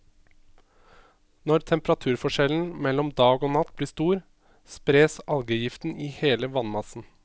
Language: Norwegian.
Når temperaturforskjellen mellom dag og natt blir stor, spres algegiften i hele vannmassen.